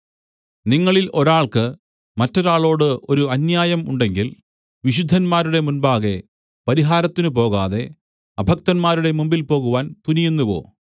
നിങ്ങളിൽ ഒരാൾക്ക് മറ്റൊരാളോട് ഒരു അന്യായം ഉണ്ടെങ്കിൽ വിശുദ്ധന്മാരുടെ മുമ്പാകെ പരിഹാരത്തിന് പോകാതെ അഭക്തന്മാരുടെ മുൻപിൽ പോകുവാൻ തുനിയുന്നുവോ